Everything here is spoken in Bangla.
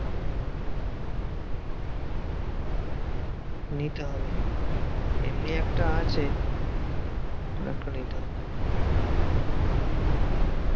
হম নিতে হবে, এমনি একটা আছে, আরেকটা নিতে হবে।